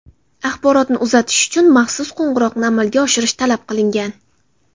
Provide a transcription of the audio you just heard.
Axborotni uzatish uchun maxsus qo‘ng‘iroqni amalga oshirish talab qilingan.